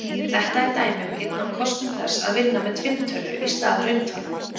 Þetta er dæmi um einn af kostum þess að vinna með tvinntölur í stað rauntalna.